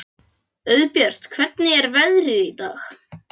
Auðbjört, hvernig er veðrið í dag?